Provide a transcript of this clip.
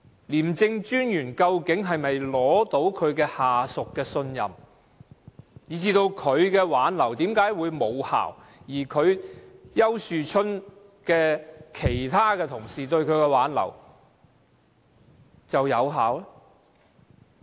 廉政專員究竟可否取得下屬的信任，以及他的挽留為何無效，而其他同事對丘樹春的挽留卻有效呢？